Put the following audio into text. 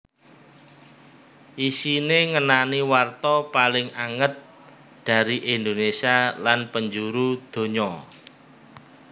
Isiné ngenani warta paling anget dari Indonésia lan penjuru donya